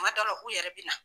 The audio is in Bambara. Kuma dɔw la k'u yɛrɛ bi na.